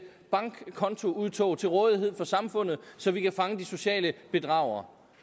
bankkontoudtog til rådighed for samfundet så vi kan fange de sociale bedragere